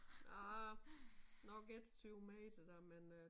Arh nok ikke 7 meter da men øh